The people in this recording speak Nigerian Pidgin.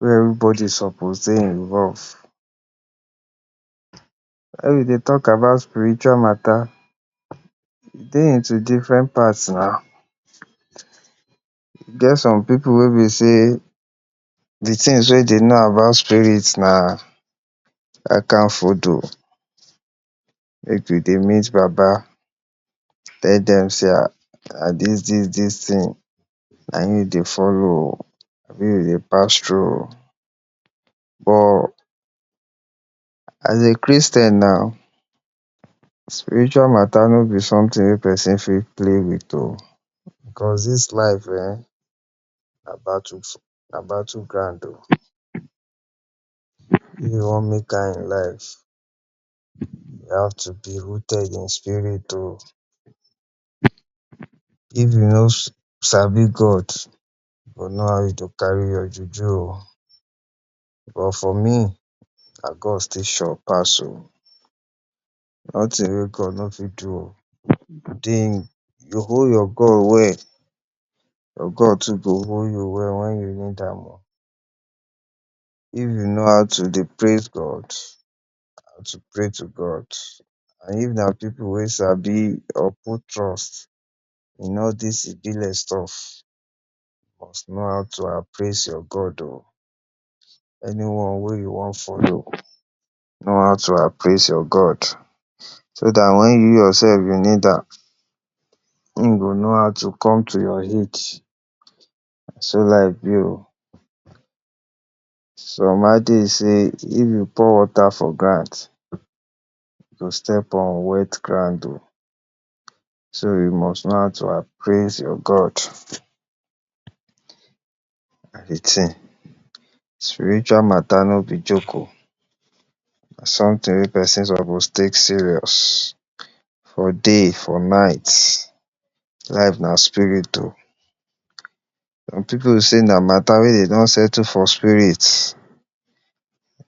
wey everybody suppose dey involved. we dey talk about spiritual mata, e dey into different parts oh e get some pipu wey be sey de ting wey dey know about spirit na make dey dey meet Baba tell dem sey dis dis dis ting na im dey follow oh. but as a Christian na spiritual mata no be someting wey person fit play with oh because dis life um na battle ground. Okay, if you wan make am in life you have to be rooted in spirit oh. if you no sabi God you know how you go carry your juju but for me na God still sure pass oh, noting wey God no fit do you hold your God well. your God too go hold you wen you need am. if you know how to dey praise God, how to dey pray to God or if na pipu wey you sabi or put trust in all dis stuff, you must know how to appraise your God oh. anyone wey you wan follow, know how to appraise your God so dat wen you yourself need am, im go know how to come to your aid. na so life be oh. some adage say if you pour wata for ground, step on wet ground oh. so you must know how to appraise your God na de ting spiritual mata no be joke oh na someting wey person suppose take serious for day, for night. life na spirit oh some pipu sey na mata wey dey don settle for spirit